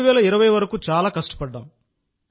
2020 వరకు చాలా కష్టపడ్డాం